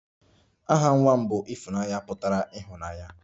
Aha nwa m bụ 'Ifunanya' pụtara ịhụnanya